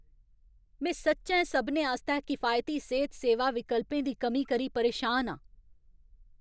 में सच्चैं सभनें आस्तै किफायती सेह्त सेवा विकल्पें दी कमी करी परेशान आं।